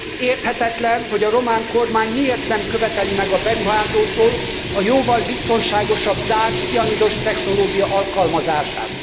Érthetetlen, hogy a román kormány miért nem követeli meg a beruházótól a jóval biztonságosabb zárt cianidos technológia alkalmazását.